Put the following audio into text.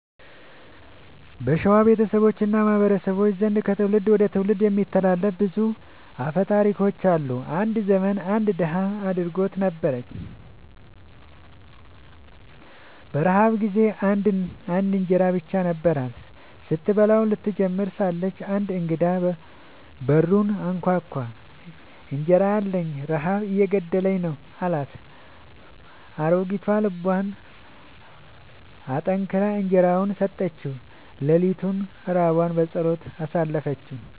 በሸዋ ቤተሰቦች እና ማህበረሰቦች ዘንድ ከትውልድ ወደ ትውልድ የሚተላለፉ ብዙ አፈ ታሪኮች አሉ። አንድ ዘመን አንድ ድሃ አሮጊት ነበረች። በረሃብ ጊዜ አንድ እንጀራ ብቻ ነበራት። ስትበላው ልትጀምር ሳለች አንድ እንግዳ በሩን አንኳኳ፤ «እንጀራ አለኝን? ረሃብ እየገደለኝ ነው» አላት። አሮጊቷ ልቧን አጠንክራ እንጀራዋን ሰጠችው። ሌሊቱን ራቧን በጸሎት አሳለፈች።